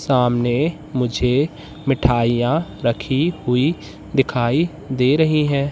सामने मुझे मिठाइयां रखी हुई दिखाई दे रही हैं।